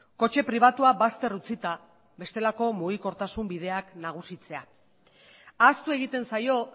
kotxe pribatua bazter utzita bestelako mugikortasun bideak nagusitzea ahaztu egiten zaio